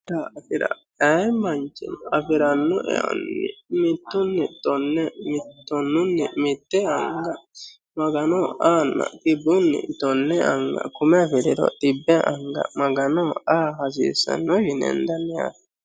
Kunni daafira Ayi manichino afiranno eoni mittuni tone tonunni mitte anigga maganoho ahana xibbuni tone anigga kumme afiriro xibbe anigga maganoho aha hasisanno yine henidanni